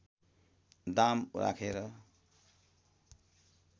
दाम राखेर